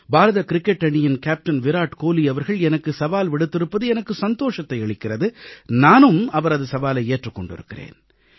பாரத cricket அணியின் captain Virat Kohli அவர்கள் எனக்கு சவால் விடுத்திருப்பது எனக்கு மகிழச்சியை அளிக்கிறது நானும் அவரது சவாலை ஏற்றுக் கொண்டிருக்கிறேன்